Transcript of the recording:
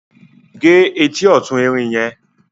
gé ẹtì ọ̀tún Erin yẹn